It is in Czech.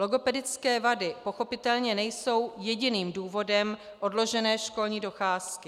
Logopedické vady pochopitelně nejsou jediným důvodem odložené školní docházky.